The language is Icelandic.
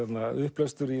upplestur í